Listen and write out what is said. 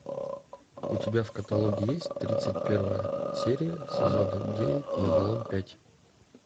у тебя в каталоге есть тридцать первая серия сезона девять вавилон пять